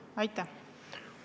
Aitäh!